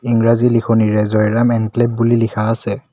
ইংৰাজী লিখনিৰে জয়ৰাম এনক্লেভ বুলি লিখা আছে।